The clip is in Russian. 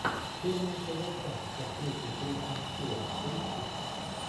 черная полоса с актрисой кристен стюарт поищи